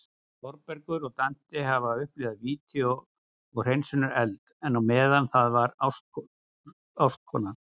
Þórbergur og Dante hafa upplifað víti og hreinsunareld, en á meðan það var ástkona